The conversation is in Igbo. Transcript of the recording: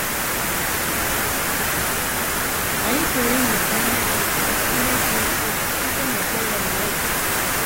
Anyị pụrụ ịmụta ihe dị ihe dị ukwuu site n’ekpere Elieza.